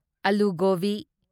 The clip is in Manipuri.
ꯑꯂꯨ ꯒꯣꯕꯤ